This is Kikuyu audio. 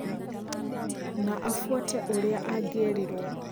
Na afuate ũrĩa angĩerirwo.